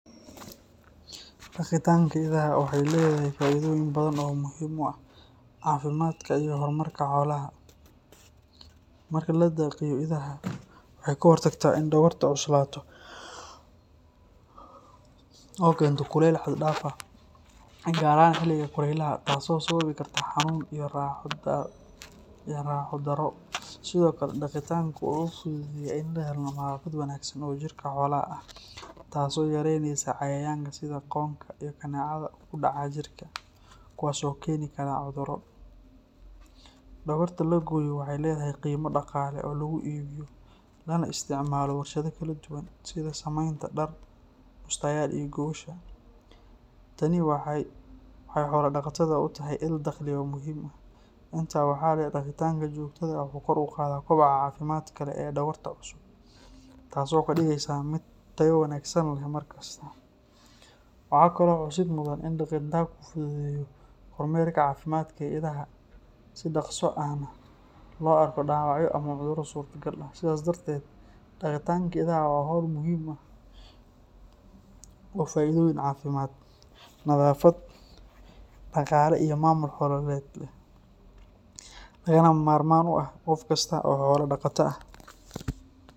Daqitaanka idaha waxay leedahay faa’iidooyin badan oo muhiim u ah caafimaadka iyo horumarka xoolaha. Marka la daqiyo idaha, waxay ka hortagtaa in dhogorta cuslaato oo keento kulayl xad dhaaf ah, gaar ahaan xiliga kulaylaha, taasoo sababi karta xanuun iyo raaxo darro. Sidoo kale, daqitaanku wuxuu fududeeyaa in la helo nadaafad wanaagsan oo jirka xoolaha ah, taasoo yaraynaysa cayayaanka sida qoonka iyo kaneecada ku dhaca jirka, kuwaas oo keeni kara cudurro. Dhogorta la gooyo waxay leedahay qiimo dhaqaale oo lagu iibiyo lana isticmaalo warshado kala duwan, sida samaynta dhar, bustayaal iyo gogosha. Tani waxay xoola-dhaqatada u tahay il-dakhli oo muhiim ah. Intaa waxaa dheer, daqitaanka joogtada ah wuxuu kor u qaadaa koboca caafimaadka leh ee dhogorta cusub, taasoo ka dhigaysa mid tayo wanaagsan leh mar kasta. Waxaa kaloo xusid mudan in daqitaanku fududeeyo kormeerka caafimaadka ee idaha, si dhaqso ahna looga arko dhaawacyo ama cudurro suurtagal ah. Sidaas darteed, daqitaanka idaha waa hawl muhiim ah oo faa’iidooyin caafimaad, nadaafad, dhaqaale iyo maamul xoolaheed leh, lagamana maarmaan u ah qof kasta oo xoolo dhaqata ah.